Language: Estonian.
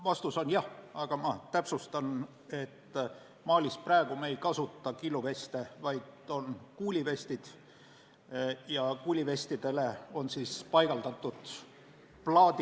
Vastus on jah, aga ma täpsustan, et Malis me ei kasuta praegu killuveste, vaid kuuliveste, millele on paigaldatud plaadid.